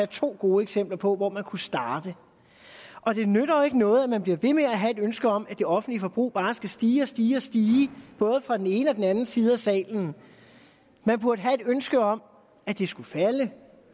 to gode eksempler på hvor man kunne starte og det nytter jo ikke noget at man bliver ved med at have et ønske om at det offentlige forbrug bare skal stige og stige både fra den ene og den anden side af salen man burde have et ønske om at det skulle falde